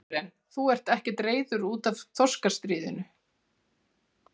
Karen: Þú ert ekkert reiður út af þorskastríðinu?